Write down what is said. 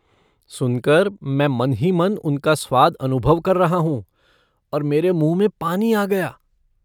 सुनकर मैं मन ही मन उनका स्वाद अनुभव कर रहा हूँ और मेरे मुँह में पानी आ गया।